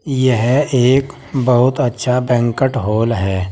यह एक बहुत अच्छा बैंकट हॉल है।